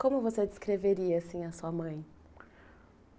Como você descreveria, assim, a sua mãe?